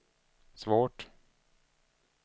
svårt